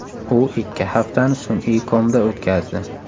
U ikki haftani sun’iy komda o‘tkazdi.